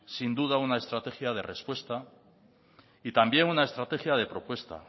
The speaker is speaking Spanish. sin duda una estrategia de respuestas y también una estrategia de propuesta